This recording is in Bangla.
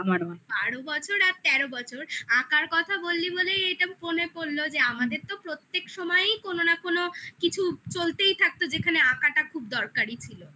হ্যাঁ বারো বছর আর তেরো বছর আঁকার কথা বললি বলেই এটা মনে পড়লো যে আমাদের তো কোনো না কোনো কিছু চলতেই থাকতো যেখানে আঁকাটা খুব দরকারি ছিল